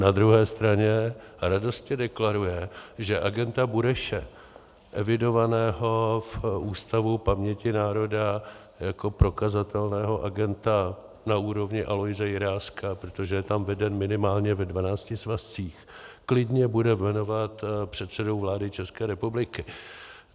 Na druhé straně radostně deklaruje, že agenta Bureše, evidovaného v Ústavu paměti národa jako prokazatelného agenta na úrovni Aloise Jiráska, protože je tam veden minimálně ve dvanácti svazcích, klidně bude jmenovat předsedou vlády České republiky.